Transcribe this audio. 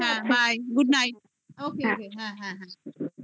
ping